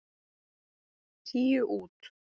Tíu út.